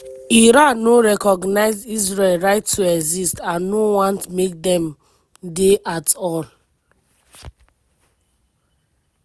iran no recognise israel right to exist and no want make dem dey at all.